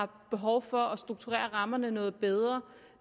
behov for at strukturere rammerne noget bedre